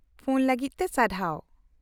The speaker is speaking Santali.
-ᱯᱷᱳᱱ ᱞᱟᱹᱜᱤᱫ ᱛᱮ ᱥᱟᱨᱦᱟᱣ ᱾